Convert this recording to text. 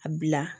A bila